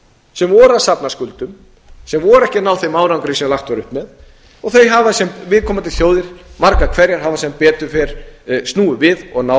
sem voru að safna skuldum sem voru ekki að ná þeim árangri sem lagt var upp með og þau hafa sem viðkomandi þjóðir margar hverjar hafa sem betur fer snúið við og náð